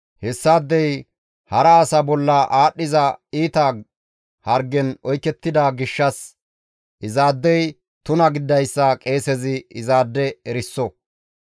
Hessaadey hara asa bolla aadhdhiza iita hargen oykettida gishshas izaadey tuna gididayssa qeesezi izaade eriso.